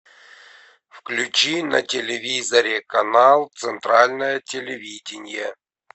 включи на телевизоре канал центральное телевидение